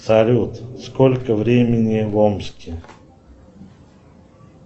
салют сколько времени в омске